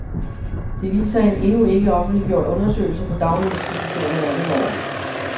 Det viser en endnu ikke offentliggjort undersøgelse på daginstitutioner landet over.